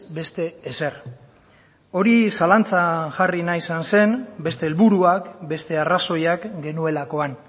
beste ezer hori zalantzan jarri nahi izan zen beste helburuak beste arrazoiak genuelakoan